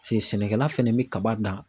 se sɛnɛkɛla fɛnɛ bi kaba dan.